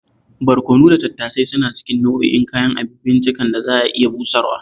Barkono da tattasai suna cikin nau'in kayan abinciccikan da za a iya busarwa